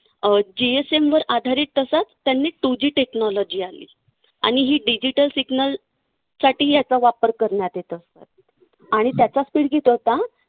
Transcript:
अं GSM वर आधारीत असं त्यांनी two G technology आणली. आणि ही digital signal साठी याचा वापर करण्यात येत असे. आणि त्याचा speed किती होता?